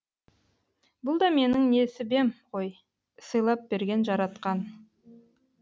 бұл да менің несібем ғой сыйлап берген жаратқан